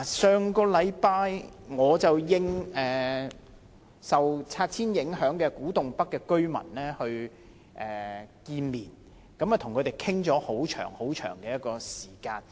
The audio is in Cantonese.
上星期，我應受拆遷影響的古洞北居民的要求，跟他們見面，與他們討論了很長時間。